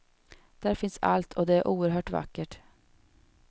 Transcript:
Där finns allt och det är oerhört vackert.